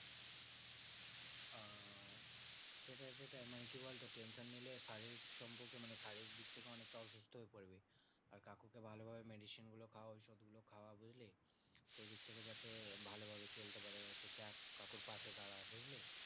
সেটাই সেটাই মানে কি বলতো? tension নিলে শারীরিক সম্পর্কে মানে শারীরিক দিক থেকে অনেকটা অসুস্থ হয়ে পড়বি। আর কাকুকে ভালো ভাবে medicine গুলো খাওয়া ওষুধগুলো খাওয়া বুঝলি? এদিক থেকে যাতে ভালোভাবে চলতে পারে দেখ কাকুর পাশে দাঁড়া বুঝলি?